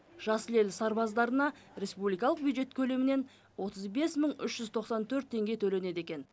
жасыл ел сарбаздарына республикалық бюджет көлемінен отыз бес мың үш жүз тоқсан төрт теңге төленеді екен